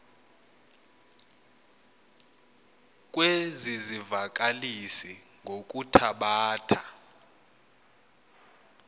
kwezi zivakalisi ngokuthabatha